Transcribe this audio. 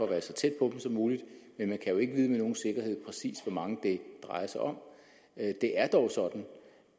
være så tæt på dem som muligt men man kan jo ikke vide med nogen sikkerhed præcis hvor mange det drejer sig om det er dog sådan